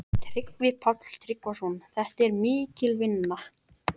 Tryggvi Páll Tryggvason: Þetta er mikil vinna?